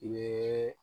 I bɛ